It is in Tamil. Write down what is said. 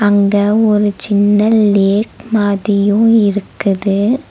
இங்க ஒரு சின்ன லேக் மாதியு இருக்குது.